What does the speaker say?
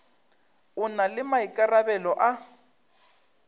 o na le maikarabelo a